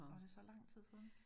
Var det så lang tid siden?